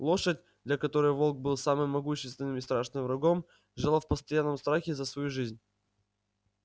лошадь для которой волк был самым могущественным и страшным врагом жила в постоянном страхе за свою жизнь